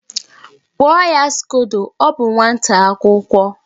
Kpụọ ya skodo, ọ bụ nwata akwụkwọ!